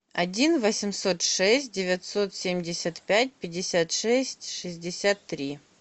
один восемьсот шесть девятьсот семьдесят пять пятьдесят шесть шестьдесят три